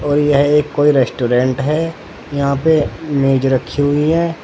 और यह एक कोई रेस्टोरेंट है यहां पे मेज रखी हुई है।